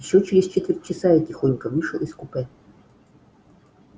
ещё через четверть часа я тихонько вышел из купе